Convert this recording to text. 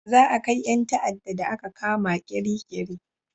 Za a kai 'yan ta'ada da a ka kama Kirikiri